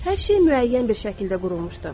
Hər şey müəyyən bir şəkildə qurulmuşdu.